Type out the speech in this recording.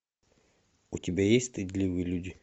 у тебя есть стыдливые люди